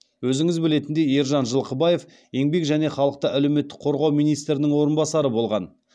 өзіңіз білетіндей ержан жылқыбаев еңбек және халықты әлеуметтік қорғау министрінің орынбасары болған